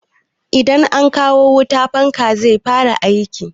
Idan an kawo wuta, fanka zai fara aiki